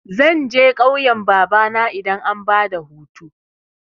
Zan je ƙauyan babana idan an bada hutu.